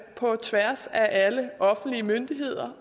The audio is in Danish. på tværs af alle offentlige myndigheder